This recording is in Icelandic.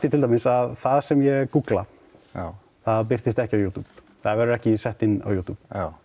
til dæmis að það sem ég gúggla það birtist ekki á YouTube það verður ekki sett inn á YouTube